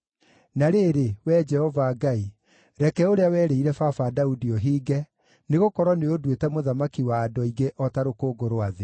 Na rĩrĩ, Wee Jehova Ngai, reke ũrĩa werĩire baba Daudi ũhinge, nĩgũkorwo nĩũnduĩte mũthamaki wa andũ aingĩ o ta rũkũngũ rwa thĩ.